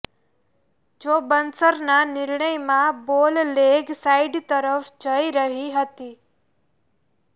જો બર્ન્સના નિર્ણયમાં બોલ લેગ સાઇડ તરફ જઇ રહી હતી